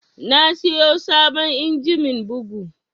Na siyo sabon injimin bugu